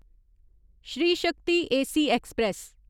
Shri Shakti AC express